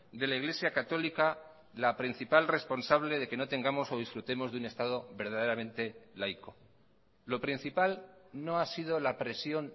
de la iglesia católica la principal responsable de que no tengamos o disfrutemos de un estado verdaderamente laico lo principal no ha sido la presión